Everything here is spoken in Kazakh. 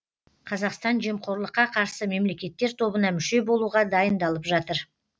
қазақстан жемқорлыққа қарсы мемлекеттер тобына мүше болуға дайындалып жатыр